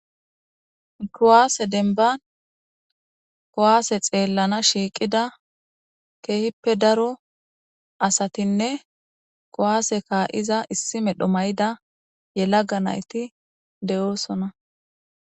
kowaase denban kowaase xeellana shiiqida keehippe daro asatinne kowaase kaa7iza issi medho mayida yelaga nayti de7oosona